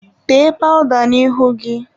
Tee pawụda n'ihu gị!.